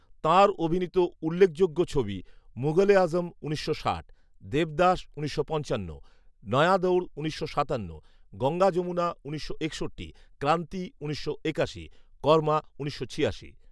তাঁর অভিনীত উল্লেখযোগ্য ছবি, মুঘল এ আজম উনিশশো ষাট, দেবদাস উনিশশো পঞ্চান্ন, নয়া দঔর উনিশশো সাতান্ন, গঙ্গা যমুনা উনিশশো একষট্টি, ক্রান্তি উনিশশো একাশি, কর্মা উনিশশো ছিয়াশি